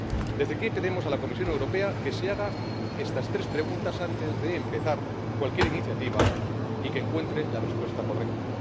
Desde aquí, pedimos a la Comisión Europea que se haga estas tres preguntas antes de empezar cualquier iniciativa y que encuentre las respuestas correctas.